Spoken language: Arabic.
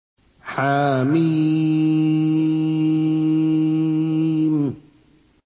حم